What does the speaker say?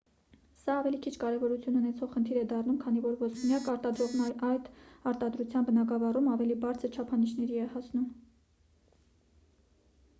սա ավելի քիչ կարևորություն ունեցող խնդիր է դառնում քանի որ ոսպնյակ արտադրողներն այդ արտադրության բնագավառում ավելի բարձր չափանիշների են հասնում